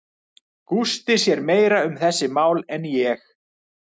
Gústi sér meira um þessi mál en ég.